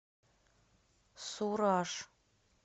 сураж